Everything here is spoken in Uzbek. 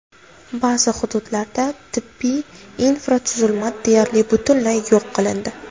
Ba’zi hududlarda tibbiy infratuzilma deyarli butunlay yo‘q qilindi.